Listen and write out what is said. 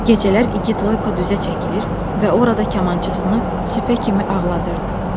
Gecələr igid Loyko düzə çəkilir və orada kamançasını süpə kimi ağladırdı.